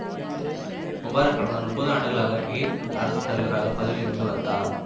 Mubarak கடந்த முப்பது ஆண்டுகளாக எகிப்தின் அரசுத்தலைவராகப் பதவியில் இருந்து வந்தார்